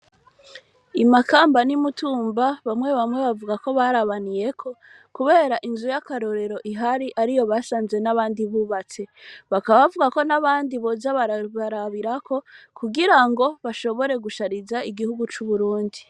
I Makamba n'i Mtumba, bamwe bamwe, bavuga ko, barabaniyeko, kubera, inzu y'akarorero ihari, ariyo basanze, n'abandi bubatse; bakaba bavuga ko, n'abandi, boza barabarabirako, kugira ngo bashobore gushariza, igihugu c'Uburundi.